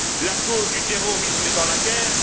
La cause du terrorisme est dans la guerre.